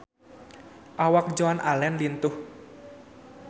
Awak Joan Allen lintuh